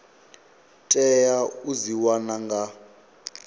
tea u dzi wana nga